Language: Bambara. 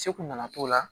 Segu na na t'o la